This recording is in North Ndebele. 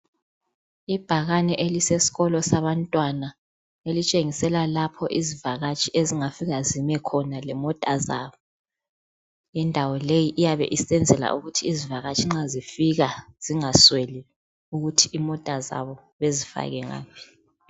Ibhakane elisesikolo sabantwana elitshengisela lapho izivakatshi ezingafika zime khona lemota zabo. Indawo leyi iyabe isenzela ukuthi izivakatshi nxa zifika zingasweli ukuthi imota zabo bezifake ngaphi.